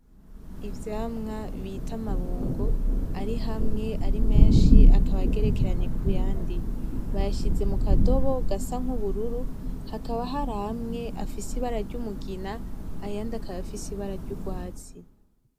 Ivyamwa bita "amabungo" ari hamwe ari menshi akaba agerekeranye kuyandi. Bayashize mu kadobo gasa nubururu, hakaba har'amwe afise ibara ry'umugina, ayandi akaba afise ibara ryugwatsi.